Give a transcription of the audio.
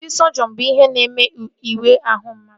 Ndị sọjiọn bụ ihe na-eme ịwa ahụ mmadụ